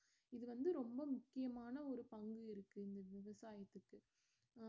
இது வந்து ரொம்ம முக்கியமான ஒரு பங்கு இருக்கு விவசாயத்துக்கு